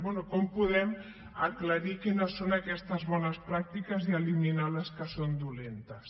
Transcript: bé com podem aclarir quines són aquestes bones pràctiques i eliminar les que són dolentes